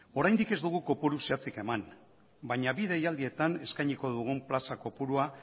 oraindik ez dugu kopuru zehatzik eman baina bi deialdietan eskainiko dugun plaza kopurua